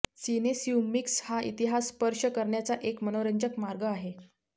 सिनेस्यूमिक्स हा इतिहास स्पर्श करण्याचा एक मनोरंजक मार्ग आहे